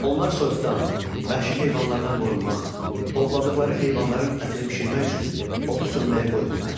Onlar soyuqdan, vəhşi heyvanlardan qorunmaq, ovladıqları heyvanların ətini bişirmək üçün odu söndürməyə qoymurdular.